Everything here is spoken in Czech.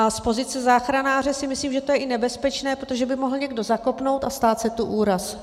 A z pozice záchranáře si myslím, že je to i nebezpečné, protože by mohl někdo zakopnout a stát se tu úraz.